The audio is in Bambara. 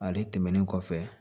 Ale tɛmɛnen kɔfɛ